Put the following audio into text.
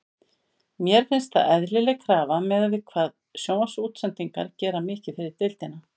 Mér finnst það eðlileg krafa miðað við hvað sjónvarpsútsendingar gera mikið fyrir deildina.